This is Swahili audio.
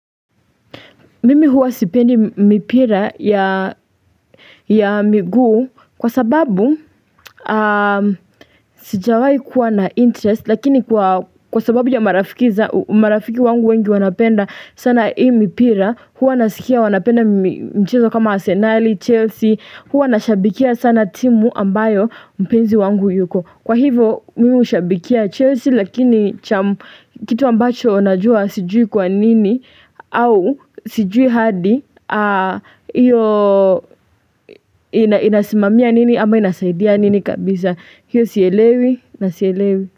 Mimi huwa sipendi mipira ya miguu kwa sababu sijawai kuwa na interest lakini kwa sababu ya marafiki wangu wengi wanapenda sana hii mipira. Huwa nasikia wanapenda mchezo kama arsenali, Chelsea. Huwa nashabikia sana timu ambayo mpenzi wangu yuko. Kwa hivo miushabikia Chelsea lakini kitu ambacho najua sijui kwa nini au sijui hadi iyo inasimamia nini ama inasaidia nini kabisa. Hiyo sielewi na sielewi.